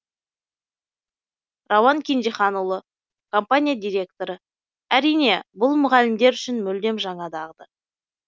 рауан кенжеханұлы компания директоры әрине бұл мұғалімдер үшін мүлдем жаңа дағды